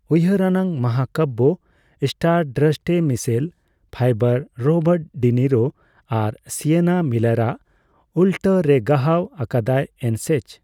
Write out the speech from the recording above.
ᱩᱭᱦᱟᱹᱨ ᱟᱱᱟᱜ ᱢᱟᱦᱟᱠᱟᱵᱵᱚ ᱸ ᱥᱴᱟᱨᱰᱟᱥᱴᱨᱮ ᱢᱤᱥᱮᱞ ᱯᱟᱭᱯᱷᱟᱨ, ᱨᱚᱵᱟᱨᱴ ᱰᱤᱱᱤᱨᱳ ᱟᱨ ᱥᱤᱭᱮᱱᱟ ᱢᱤᱞᱟᱨ ᱟᱜ ᱩᱞᱴᱟ ᱨᱮᱜᱟᱦᱟᱣ ᱟᱠᱟᱫᱟᱭ ᱮᱱᱥᱮᱪ ᱾